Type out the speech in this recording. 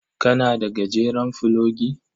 Kana da gajeren fulogi?